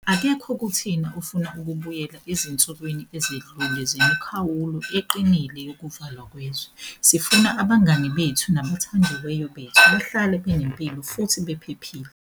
Akekho kuthina ofuna ukubuyela ezinsukwini ezidlule zemikhawulo eqinile yokuvalwa kwezwe. Sifuna abangani bethu nabathandiweyo bethu bahlale benempilo futhi bephephile.